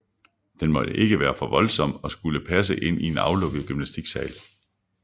Den måtte ikke være for voldsom og skulle passe ind i en aflukket gymnastiksal